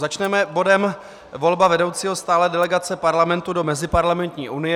Začneme bodem volba vedoucího stálé delegace Parlamentu do Meziparlamentní unie.